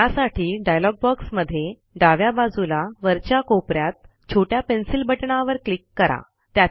त्यासाठी डायलॉग बॉक्समध्ये डाव्या बाजूला वरच्या कोप यात छोट्या पेन्सिल बटणावर क्लिक करा